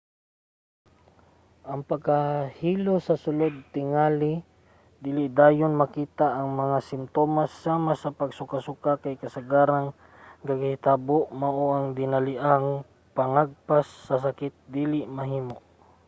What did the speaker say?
ang pagkahilo sa sulod tingali dili dayon makita. ang mga simtomas sama sa pagsukasuka kay kasagarang gakahitabo mao nga ang dinaliang pangagpas sa sakit dili mahimo